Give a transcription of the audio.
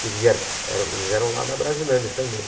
Porque eles vieram eram eles eram lá da Brasilândia também.